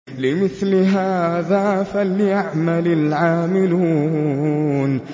لِمِثْلِ هَٰذَا فَلْيَعْمَلِ الْعَامِلُونَ